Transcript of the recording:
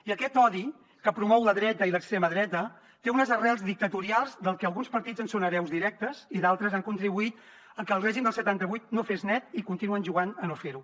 i aquest odi que promouen la dreta i l’extrema dreta té unes arrels dictatorials del que alguns partits en són hereus directes i d’altres han contribuït a que el règim del setanta vuit no fes net i continuen jugant a no fer ho